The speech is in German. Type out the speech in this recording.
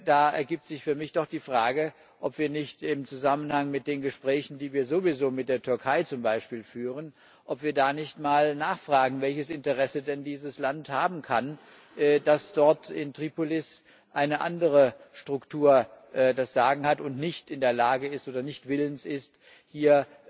Da ergibt sich für mich doch die Frage, ob wir im Zusammenhang mit den Gesprächen, die wir mit der Türkei zum Beispiel sowieso führen, da nicht mal nachfragen, welches Interesse denn dieses Land daran haben kann, dass dort in Tripolis eine andere Struktur das Sagen hat, und man nicht in der Lage oder nicht willens ist, hier